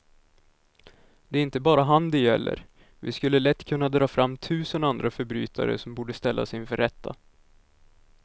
Det är inte bara han det gäller, vi skulle lätt kunna dra fram tusen andra förbrytare som borde ställas inför rätta.